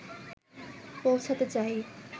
পৌঁছাতে চাই